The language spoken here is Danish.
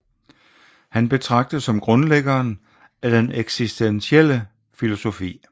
Han betragtes som grundlæggeren af den eksistentielle filosofi